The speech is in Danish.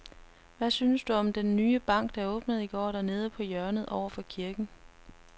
Hvad synes du om den nye bank, der åbnede i går dernede på hjørnet over for kirken?